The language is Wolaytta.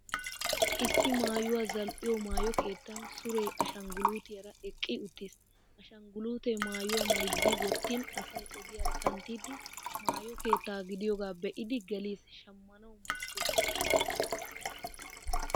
Issi maayuwaa zal'iyoo maayo kettan suree ashanguluutiyaara eqqi uttis. Ashangguluutee maayuwaa mayizzi wottin asay ogiyaara kanttiddi maayo keetta gidiyoogaa be'idi gelis shammanawu maaddes.